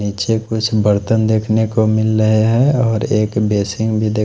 नीचे कुछ बर्तन देखने को मिल रहे है और एक बेसिन भी देख --